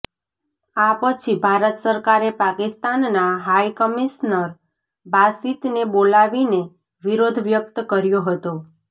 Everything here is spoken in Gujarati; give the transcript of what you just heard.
આ પછી ભારત સરકારે પાકિસ્તાનનાં હાઈ કમિશનર બાસિતને બોલાવીને વિરોધ વ્યક્ત કર્યો હતો